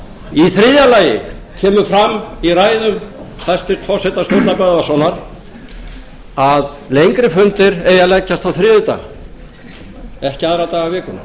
lagi kemur fram í ræðu hæstvirts forseta sturlu böðvarssonar að lengri fundir eigi að leggjast á þriðjudag ekki aðra daga vikunnar